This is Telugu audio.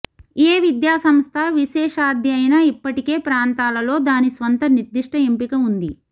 ఏ విద్యా సంస్థ విశేషాధ్యయన ఇప్పటికే ప్రాంతాలలో దాని స్వంత నిర్దిష్ట ఎంపిక ఉంది